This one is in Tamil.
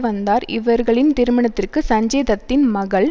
வந்தார் இவர்களின் திருமணத்திற்கு சஞ்சய் தத்தின் மகள்